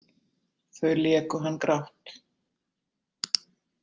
Þau léku hann grátt.